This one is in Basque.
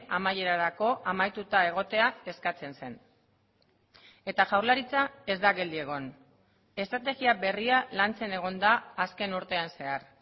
amaierarako amaituta egotea eskatzen zen eta jaurlaritza ez da geldi egon estrategia berria lantzen egon da azken urtean zehar